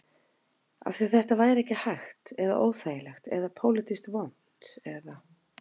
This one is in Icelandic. Af því að þetta væri ekki hægt eða óþægilegt eða pólitískt vont eða?